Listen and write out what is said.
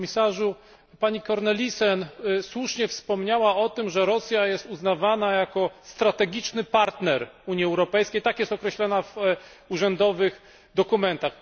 Panie Komisarzu! Pani Cornelissen słusznie wspomniała o tym, że Rosja jest uznawana za strategicznego partnera Unii Europejskiej, tak jest określana w urzędowych dokumentach.